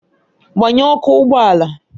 Gbanye ọkụ ụgbọ ala!